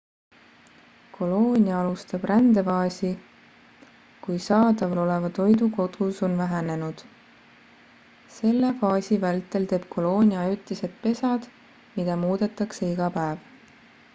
koloonia alustab rändefaasi kui saadaval oleva toidu kogus on vähenenud selle faasi vältel teeb koloonia ajutised pesad mida muudetakse iga päev